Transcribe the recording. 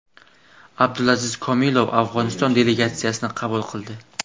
Abdulaziz Komilov Afg‘oniston delegatsiyasini qabul qildi.